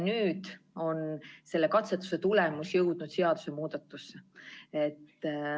Nüüd on selle katsetuse tulemus jõudnud seadusemuudatusse.